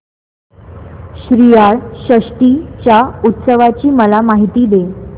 श्रीयाळ षष्टी च्या उत्सवाची मला माहिती दे